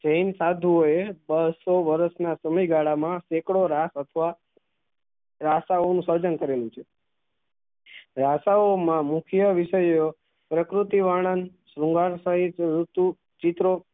જૈન સાધુવોએ બસ્સો વર્ષ ના સમય ગાળા માં સેકડો રાહ અથવા ભાષાઓ નું સર્જન કરેલું છે ભાષાઓ માં મુખ્ય વિષયો પ્રકુરતી વર્ણન શૃંગાર સાહિત્ય રીતુ ચિત્રો